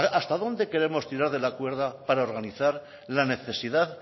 hasta dónde queremos tirar de la cuerda para organizar la necesidad